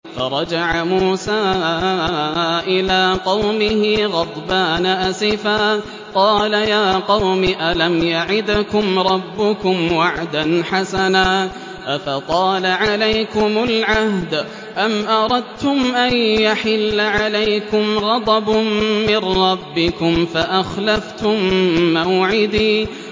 فَرَجَعَ مُوسَىٰ إِلَىٰ قَوْمِهِ غَضْبَانَ أَسِفًا ۚ قَالَ يَا قَوْمِ أَلَمْ يَعِدْكُمْ رَبُّكُمْ وَعْدًا حَسَنًا ۚ أَفَطَالَ عَلَيْكُمُ الْعَهْدُ أَمْ أَرَدتُّمْ أَن يَحِلَّ عَلَيْكُمْ غَضَبٌ مِّن رَّبِّكُمْ فَأَخْلَفْتُم مَّوْعِدِي